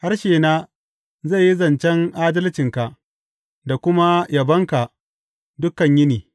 Harshena zai yi zancen adalcinka da kuma yabonka dukan yini.